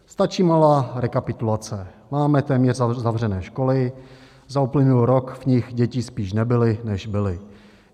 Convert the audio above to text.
Stačí malá rekapitulace: Máme téměř zavřené školy, za uplynulý rok v nich děti spíš nebyly, než byly.